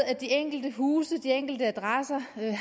at de enkelte huse de enkelte adresser